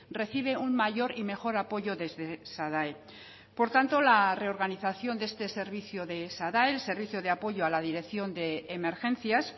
recibe un mayor y mejor apoyo desde sadae por tanto la reorganización de este servicio del sadae el servicio de apoyo a la dirección de emergencias